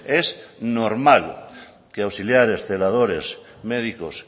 es normal que auxiliares celadores médicos